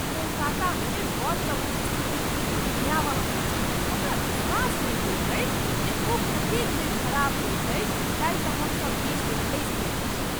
कोलकातामे बससभक स्थिति बिलकुल भयावह अछि! हमरा विश्वास नहि होइत अछि जे ओ कतेक बेर खराप होइत अछि, जाहि सँ हमसभ बीच मे फँसि जाइत छी।